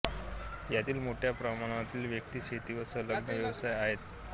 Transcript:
यातील मोठ्या प्रमाणातील व्यक्ती शेती व संलग्न व्यवसायात आहेत